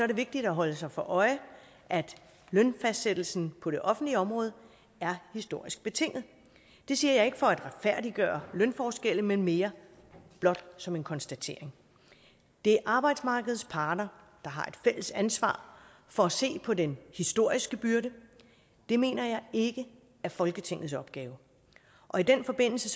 det vigtigt at holde sig for øje at lønfastsættelsen på det offentlige område er historisk betinget det siger jeg ikke for at retfærdiggøre lønforskelle men mere blot som en konstatering det er arbejdsmarkedets parter der har et fælles ansvar for at se på den historiske byrde det mener jeg ikke er folketingets opgave i den forbindelse